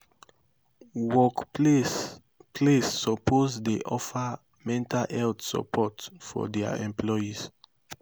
work place place soppose dey offer mental health sopport for dia employees